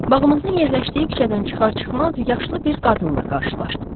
Bağımızın yerləşdiyi küçədən çıxar-çıxmaz yaşlı bir qadınla qarşılaşdım.